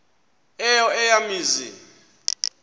eyo eya mizi